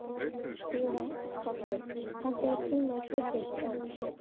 Sighvatur, pantaðu tíma í klippingu á mánudaginn.